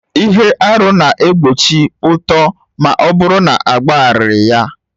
Ihe arụ na-egbochi uto ma ọ bụrụ na agbagharaghị ya